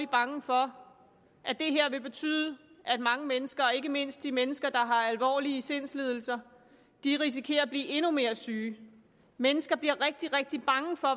bange for at det her vil betyde at mange mennesker ikke mindst de mennesker der har alvorlige sindslidelser risikerer at blive endnu mere syge mennesker bliver rigtig rigtig bange for